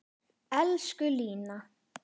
Elsku Lína.